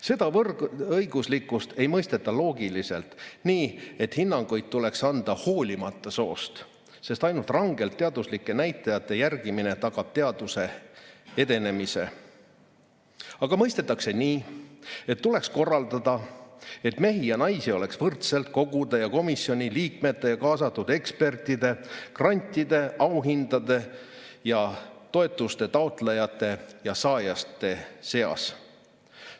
Seda võrdõiguslikkust ei mõisteta loogiliselt, nii, et hinnanguid tuleks anda hoolimata soost – sest ainult rangelt teaduslike näitajate järgimine tagab teaduse edenemise –, vaid mõistetakse nii, et tuleks korraldada, et mehi ja naisi oleks võrdselt kogude ja komisjoni liikmete, kaasatud ekspertide, grantide, auhindade ja toetuste taotlejate ning saajate seas.